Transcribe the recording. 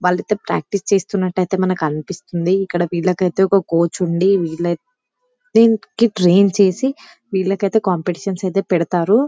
వాళ్లిద్దరూ practice చేస్తున్నట్టయితే మనకనిపిస్తుంది ఇక్కడ వీళ్ళకైతే ఒక కోచ్ ఉండి విల్లై ట్రైన్ చేసి వీళ్ళకైతే కాంపిటేషన్స్ ఐతే పెడతారు.